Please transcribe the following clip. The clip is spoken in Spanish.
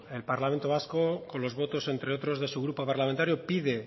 el parlamento vasco con los votos entre otros de su grupo parlamentario pide